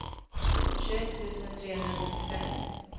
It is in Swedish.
tjugoett tusen trehundranittiofem